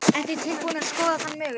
Ertu tilbúin að skoða þann möguleika?